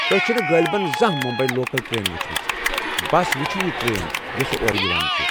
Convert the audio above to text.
تۄہہِ چھنہٕ غٲلبن زانہہ ممبیی لوكل ٹرینہٕ وُچھمژٕ ، بس وُچھِو یہِ ٹرین یوٚسہٕ اورٕ یوان چھے٘ ۔